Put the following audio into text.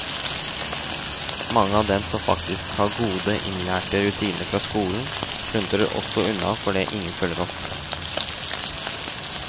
Mange av dem som faktisk har gode, innlærte rutiner fra skolen, sluntrer også unna fordi ingen følger opp.